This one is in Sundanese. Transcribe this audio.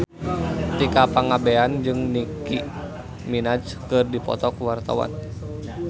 Tika Pangabean jeung Nicky Minaj keur dipoto ku wartawan